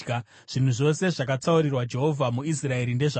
“Zvinhu zvose zvakatsaurirwa Jehovha muIsraeri ndezvako.